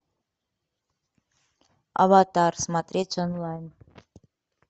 аватар смотреть онлайн